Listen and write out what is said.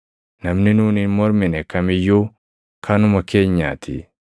Namni nuun hin mormine kam iyyuu kanuma keenyaatii.